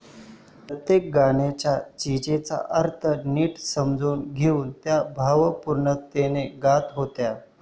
प्रत्येक गाण्याचा, चीजेचा अर्थ निट समजावून घेऊन त्या भावपूर्णतेने गात होत्या.